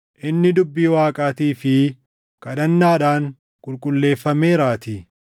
inni dubbii Waaqaatii fi kadhannaadhaan qulqulleeffameeraatii.